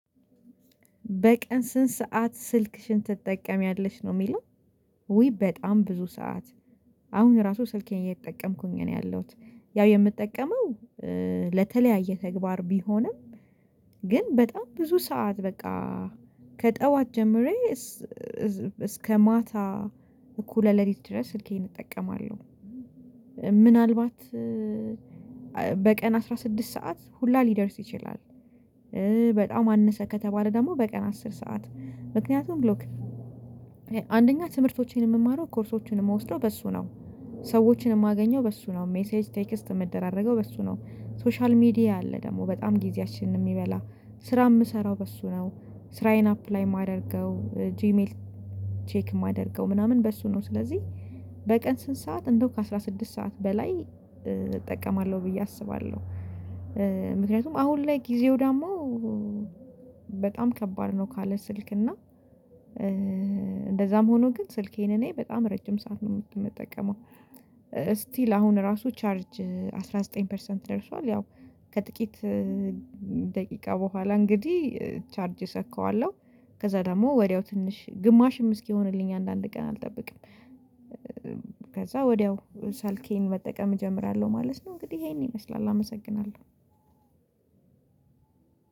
በቀን ስንት ሰዓት ስልክሽን ትጠቀሚያለሽ ነው የሚለው? ውይ በጣም ብዙ ሰዓት አሁን ራሱ ስልኬን እየተጠቀምኩኝ ነው ያለሁት ያው የምጠቀመው ለተለያየ ተግባር ቢሆንም ግን በጣም ብዙ ሰዓት በቃ ከጠዋት ጀምሬ እስከ ማታ እኩለ ለሊት ድረስ ስልኬን እጠቀማለሁ። ምናልባት በቀን አስራ ስድስት ሰዓት ሁላ ሊደርስ ይችላል። በጣም አነሰ ከተባለ ደግሞ በቀን አስር ሰዓት ምክንያቱም ሎክ አንደኛ ትምህርቶቼን የምማረው ኮርሶችን የምወስደው በእሱ ነው። ሰዎችን የማገኘው በእሱ ነው ሜሴጅ ቴክስት የምደራረገው በእሱ ነው። ሶሻል ሚዲያ አለ ደግሞ በጣም ጊዜያችንን የሚበላ ስራ የምሰራው በእሱ ነው ስራዬን አፕላይ የማደርገው ጂሜይል ቼክ የማደርገው ምናምን በእሱ ነው። ስለዚህ በቀን ስንት ሰዓት እንደው ከአስራ ስድስት ሰዓት በላይ እጠቀማለሁ ብዬ አስባለሁ። ምክንያቱም አሁን ላይ ጊዜው ደግሞ በጣም ከባድ ነው ካለ ስልክ እና እንደዚያም ሆኖ ግን ስልኬን እኔ በጣም ረጅም ሰዓት ነው የምጠቀመው። ስቲል አሁን ራሱ ቻርጅ አስራ ዘጠኝ ፐርሰንት ደርሷል ያው ከጥቂት ደቂቃ በኋላ እንግዲህ ቻርጅ ሰካዋለሁ ከዚያ ደግሞ ወዲያው ትንሽ ግማሽም እስኪሆንልኝ አንዳንድ ቀን አልጠብቅም ከዚያው ወዲያው ሳልኬን መጠቀም እጀምራለሁ ማለት ነው። እንግዲህ ይሄን ይመስላል አመሰግናለሁ።